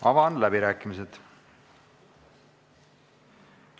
Avan läbirääkimised.